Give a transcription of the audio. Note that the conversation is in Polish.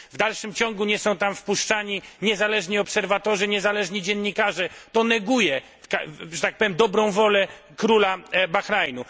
W dalszym ciągu nie są tam wpuszczani niezależni obserwatorzy, niezależni dziennikarze, to neguje że tak powiem dobrą wolę króla Bahrajnu.